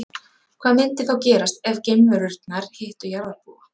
Hvað myndi þá gerast ef geimverurnar hittu jarðarbúa?